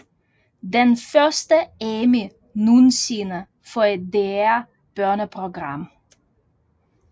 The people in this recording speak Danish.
Den første Emmy nogensinde for et DR børneprogram